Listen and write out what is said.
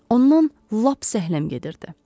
Ondan lap zəhləm gedirdi.